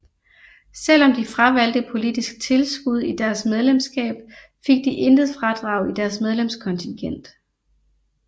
Selvom de fravalgte politisk tilskud i deres medlemskab fik de intet fradrag i deres medlemskontingent